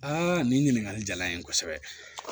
nin ɲininkali jala n ye kosɛbɛ